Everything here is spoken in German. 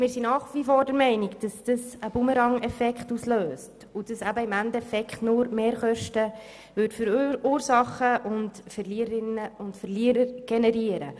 Wir sind nach wie vor der Meinung, es löse einen Bumerangeffekt aus, sodass am Ende nur Mehrkosten versursacht und Verliererinnen und Verlierer generiert würden.